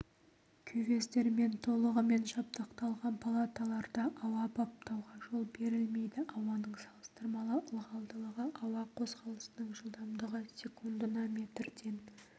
кювездермен толығымен жабдықталған палаталарда ауа баптауға жол берілмейді ауаның салыстырмалы ылғалдылығы ауа қозғалысының жылдамдығы секундына метрден